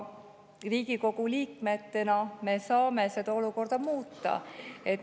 Riigikogu liikmetena me saame seda olukorda muuta.